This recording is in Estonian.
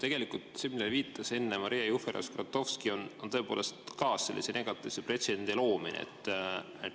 Tegelikult see, millele viitas enne Maria Jufereva-Skuratovski, on tõepoolest sellise negatiivse pretsedendi loomine.